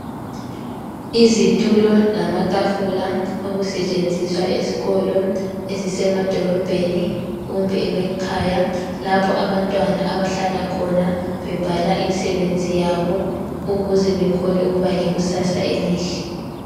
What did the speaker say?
Izitulo lamatafula okusetshenziswa ezikolo ezisemadorobheni kumbe emakhaya lapho abantwana abahlala khona bebhala imsebenzi yabo ukuze bekhone ukuba lekusasa elihle.